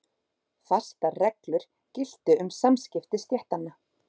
Fastar reglur giltu um samskipti stéttanna.